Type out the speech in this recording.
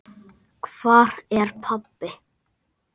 Hvar er pabbi?